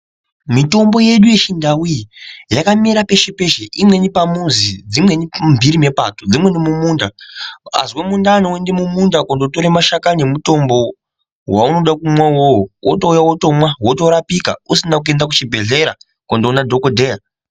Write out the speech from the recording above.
Mitombo yedu yechindau iyi yakamera peshe-peshe imweni pamuzi dzimweni mumhiri mepato. Dzimweni mumunda azwe mundani oenda mumunda kundotore mashakani emutombo vaunoda kumwa ivovo votouya vomwa votorapika. Usina kuenda kuchibhedhlera kondona dhogodheya.